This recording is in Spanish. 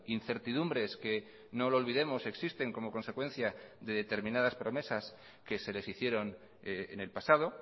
incertidumbres que no lo olvidemos existen como consecuencia de determinadas promesas que se les hicieron en el pasado